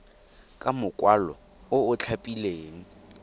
ka mokwalo o o tlhapileng